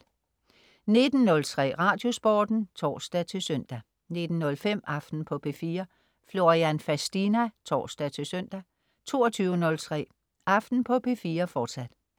19.03 Radiosporten (tors-søn) 19.05 Aften på P4. Florian Fastina (tors-søn) 22.03 Aften på P4. Fortsat